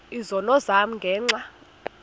izono zam ngenxa